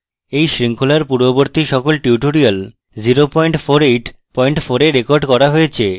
এই শৃঙ্খলার পূর্ববর্তী সকল tutorials 0484 এ রেকর্ড করা হয়েছে